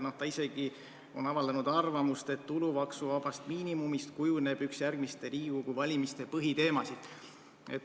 Ta on isegi avaldanud arvamust, et tulumaksuvabast miinimumist kujuneb üks järgmiste Riigikogu valimiste põhiteemasid.